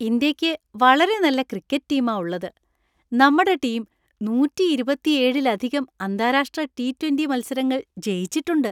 ഇന്ത്യയ്ക്ക് വളരെ നല്ല ക്രിക്കറ്റ് ടീമാ ഉള്ളത്. നമ്മടെ ടീം നൂറ്റി ഇരുപത്തിയേഴിലധികം അന്താരാഷ്ട്ര ടി ട്വൻറ്റി മത്സരങ്ങൾ ജയിച്ചിട്ടുണ്ട്.